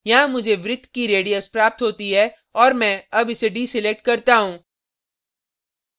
यहाँ मुझे वृत्त की radius प्राप्त होती है और मैं अब इसे deselect करता हूँ